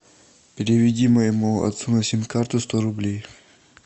переведи моему отцу на сим карту сто рублей